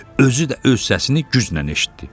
özü də öz səsini güclə eşitdi.